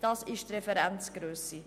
Das ist die Referenzgrösse.